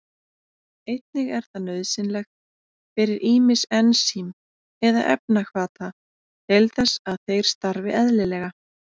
Einnig er það nauðsynlegt fyrir ýmis ensím eða efnahvata til þess að þeir starfi eðlilega.